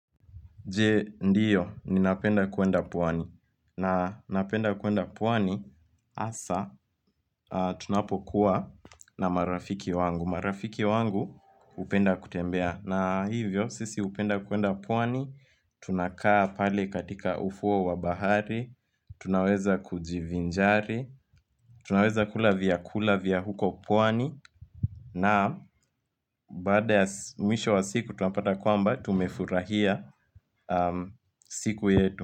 Je, ndio, ninapenda kuenda pwani. Na napenda kuenda pwani, asa, tunapokuwa na marafiki wangu. Marafiki wangu hupenda kutembea. Na hivyo, sisi upenda kuenda pwani, tunakaa pale katika ufuo wa bahari, tunaweza kujivinjari, tunaweza kula vya kula vya huko pwani. Na, baada ya mwisho wa siku, tunapata kwamba, tumefurahia siku yetu.